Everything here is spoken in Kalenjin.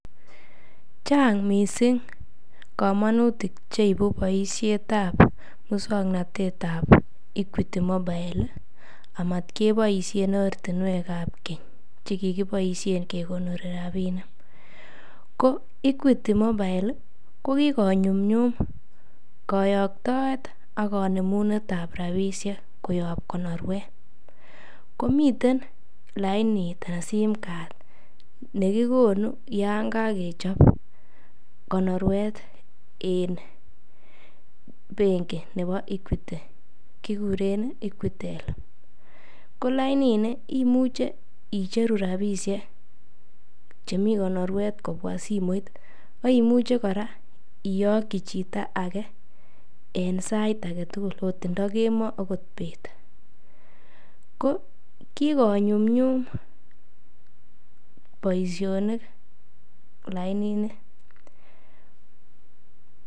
Chang mising komonutik che ibu boisietab muswaknatettab Equity Mobile amat keboisien ortinwek ab keny che kigiboisien kekonori rabinik. Ko Equity MObile ko kigonyumnyum koyoktoet ak konemunet ab rabishek koyob konorwet. Komiten lainit anan sim card nekikonu yon kogechob konorwet en benki nebo Equity kiguren Equitel. Ko lainini imuch eicheru rabishek chemi konorwet kobwa simoit ak imuche kora iyoki chito age en sait age tugul, agot indo kemoi agot indo beet. Ko kigonyumnyum boisionik lainini.